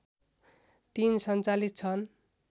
३ सञ्चालित छन्